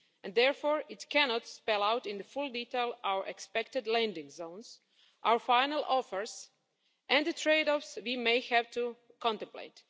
Therefore, it cannot spell out in full detail our expected landing zones, our final offers and the trade offs we may have to contemplate.